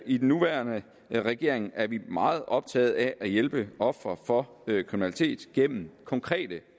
i den nuværende regering er vi meget optaget af at hjælpe ofre for kriminalitet gennem konkrete